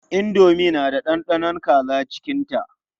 Indomi na da ɗanɗanon kaza cikinta.